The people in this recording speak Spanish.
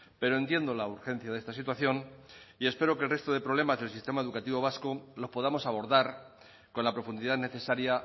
pero entiendo la urgencia de esta situación y espero que el resto de problemas del sistema educativo vasco los podamos abordar con la profundidad necesaria